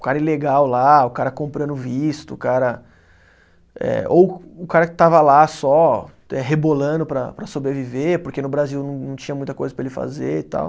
O cara ilegal lá, o cara comprando visto, o cara eh, ou o cara que estava lá só eh rebolando para para sobreviver, porque no Brasil não não tinha muita coisa para ele fazer e tal.